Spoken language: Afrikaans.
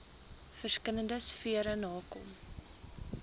verskillende sfere nakom